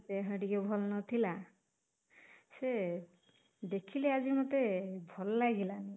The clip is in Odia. ଦେହ ଟିକେ ଭଲ ନଥିଲା, ସେ ଦେଖିଲି ଆଜି ମତେ ଭଲ ଲାଗିଲାନି